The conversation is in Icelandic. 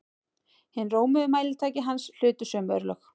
Hin rómuðu mælitæki hans hlutu sömu örlög.